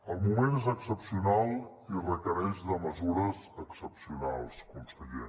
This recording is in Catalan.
el moment és excepcional i requereix mesures excepcionals conseller